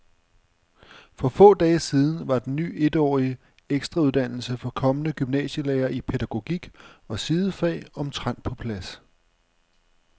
For få dage siden var den ny etårige ekstrauddannelse for kommende gymnasielærere i pædagogik og sidefag omtrent på plads.